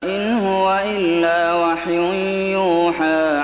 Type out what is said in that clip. إِنْ هُوَ إِلَّا وَحْيٌ يُوحَىٰ